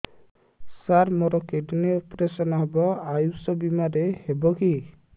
ସାର ମୋର kidney operation ହେବ ଆୟୁଷ ବିମାରେ ହେବ କି